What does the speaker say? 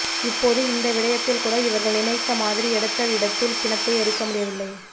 இப்போது இந்த விடயத்தில் கூட இவர்கள் நினைத்த மாதிரி எடுத்த எடுப்பில் பிணத்தை எரிக்க முடியவில்லை